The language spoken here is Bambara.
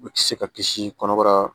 U bɛ se ka kisi kɔnɔbara